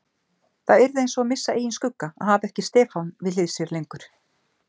Það yrði einsog að missa eigin skugga að hafa ekki Stefán við hlið sér lengur.